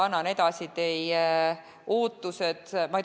Annan teie ootused edasi.